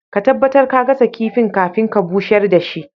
Ka tabatar ka gasa kifin kafin ka busher da shi.